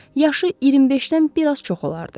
Yaşı 25-dən biraz çox olardı.